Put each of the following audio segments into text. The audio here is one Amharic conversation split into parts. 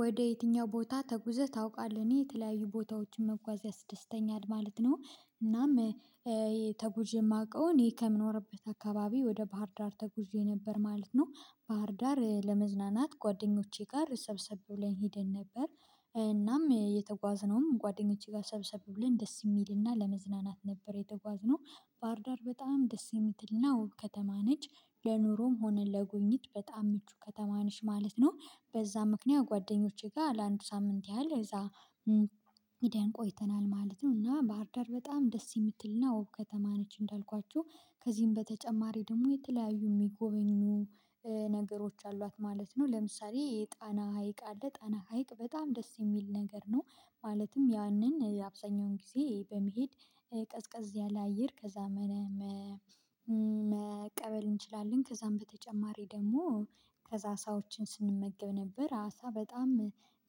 ወደ የትኛው ቦታ ተጉዘህ ታውቃለህ? እኔ የተለያዩ ቦታዎችን መጓዝ ያስደስተኛል ማለት ነው እናም የማውቀውን ይሄ ከምኖርበት አካባቢ ወደ ባህርዳር ተጉዥ ነበር ማለት ነው። ባህርዳር ለመዝናናት ጓደኞቼ ጋር ሰብሰብ ብለን ሄደን ነበር። እናም የተጓዝነውም ጓደኞቼ ጋር ሰብሰብ ብለን ደስ የሚልና ለመዝናናት ነበር የተጓዝነው ባህርዳር በጣም ደስ የምትልና ውብ ከተማ ነች። ለኑሮም ሆነ ለጉብኝት በጣም ምቹ ከተማ ነች። ማለት ነው በዛ ምክንያት ጓደኞቼ ጋር ለአንድ ሳምንት ያህል እዛ ሚዲያን ቆይተናል ማለት ነው። እና ባህርዳር በጣም ደስ የምትልና ወብ ከተማ ነች። እንዳልኳችሁ ከዚህም በተጨማሪ ደግሞ የተለያዩ የሚጎበኙ ነገሮች አሏት ማለት ነው ለምሳሌ የጣና ሀይቅ አለ ጣና ሀይቅ በጣም ደስ የሚል ነገር ነው ማለትም ያንን የአብዛኛውን ጊዜ በመሄድ ቀዝቀዝ ያለ አየር ከዛ መቀበል እንችላለን ከዛም በተጨማሪ ደግሞ ከዛ አሳዎችን ስንመገብ ነበር አሳ በጣም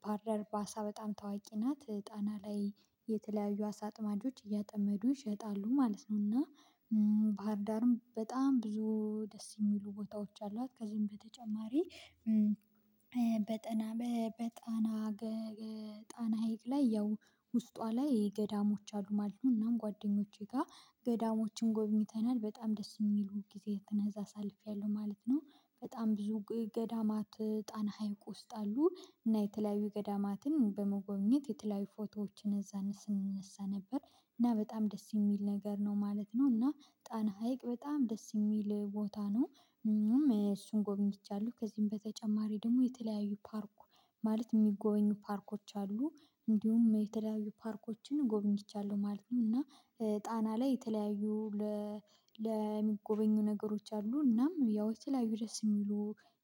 ባህዳር በአሳ በጣም ታዋቂ ናት። ጣና ላይ የተለያዩ አሳ አጥማጆች እያጠመዱ ይሸጣሉ ማለት ነው እና ባህር ዳርም በጣም ብዙ ደስ የሚሉ ቦታዎች አሏት። ከዚህም በተጨማሪ በጣና ጣና ሀይቅ ላይ ያው ውስጧ ላይ ገዳሞች አሉ ማለት ነው። እናም ጓደኞቼ ጋር ገዳሞችን ጎብኝተና፣ በጣም ደስ የሚሉ ጊዜያትን እዛ አሳልፌያለሁ ማለት ነው። በጣም ብዙ ገዳማት ጣና ሀይቅ ውስጥ አሉ እና የተለያዩ ገዳማትን በመጎብኘት የተለያዩ ፎቶዎችን እዛ ስንነሳ ነበር። እና በጣም ደስ የሚል ነገር ነው ማለት ነው እና ጣና ሀይቅ በጣም ደስ የሚል ቦታ ነው። እሱን ጎብኝቻለሁ ከዚህም በተጨማሪ ደግሞ የተለያዩ ፓርኩ ማለት የሚጎበኙ ፓርኮች አሉ ደ እንዲሁም የተለያዩ ፓርኮችን ጎበኝቻለሁ ማለት ነው እና ጣና ላይ የተለያዩ ለሚጎበኙ ነገሮች አሉ። እናም ያው የተለያዩ ደስ የሚሉ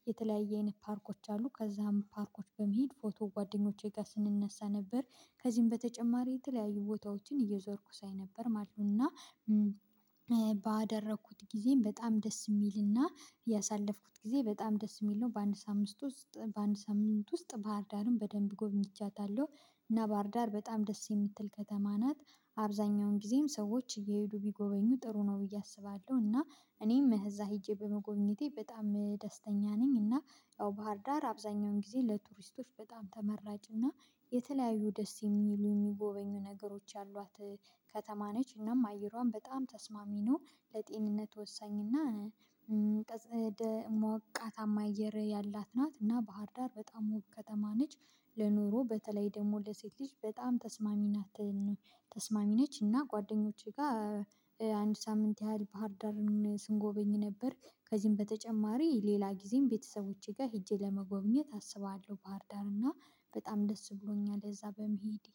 የተለያየ አይነት ፓርኮች አሉ ከዛም ፓርኮች በመሄድ ፎቶ ጓደኞቼ ጋር ስንነሳ ነበር። ከዚህም በተጨማሪ የተለያዩ ቦታዎችን እየዞርኩ ሳይ ነበር ማለት ነው እና ባደረኩት ጊዜም በጣም ደስ የሚልና ያሳለፍኩት ጊዜ በጣም ደስ የሚል ነው። በአንድ ሳምንት ውስጥ በአንድ ሳምንት ውስጥ ባህርዳርን በደንብ ጎብኝቻታለሁ እና ባህርዳር በጣም ደስ የምትል ከተማ ናት አብዛኛውን ጊዜም ሰዎች እየሄዱ ቢጎበኙ ጥሩ ነው ብዬ አስባለሁ። እና እኔም እዛ ሄጄ በመጎብኘቴ በጣም ደስተኛ ነኝ። እና ያው ባህር ዳር አብዛኛውን ጊዜ ለቱሪስቶች በጣም ተመራጭ እና የተለያዩ ደስ የሚሉ የሚጎበኙ ነገሮች ያሏት ከተማ ነች እናም አየሯን በጣም ተስማሚ ነ፤ ለጤንነት ወሰኝና ሞቃታማ አየር ያላት ናት። እና ባህር ዳር በጣም ውብ ከተማ ነች ለኑሮ በተለይ ደግሞ ለሴት ልጅ በጣም ተስማሚ ናት ተስማሚ ነች እና ጓደኞቼ ጋር አንድ ሳምንት ያህል ባህር ዳርን ስንጎበኝ ነበር። ከዚህም በተጨማሪ ሌላ ጊዜም ቤተሰቦቼ ጋር ሄጄ ለመጎብኘት አስባለሁ ባህርዳር እና በጣም ደስ ብሎኛል እዛ በመሄዴ